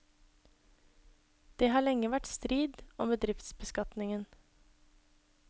Det har lenge vært strid om bedriftsbeskatningen.